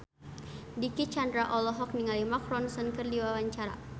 Dicky Chandra olohok ningali Mark Ronson keur diwawancara